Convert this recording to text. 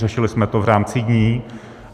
Řešili jsme to v rámci dní.